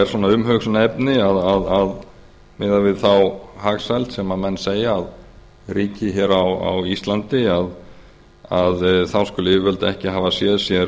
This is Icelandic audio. svona umhugsunarefni miðað við þá hagsæld segja að ríki hér á íslandi að þá skuli yfirvöld ekki hafa séð sér